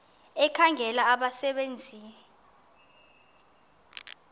ekhangela abasebe nzi